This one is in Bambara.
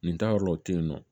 Nin taa yɔrɔ o tɛ yen nɔ